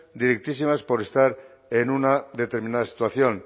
directísimas por estar en una determinada situación